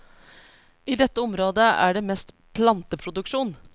I dette området er det mest planteproduksjon.